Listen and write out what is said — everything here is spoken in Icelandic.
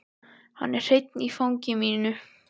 Hann er hreinn í fangi mínu.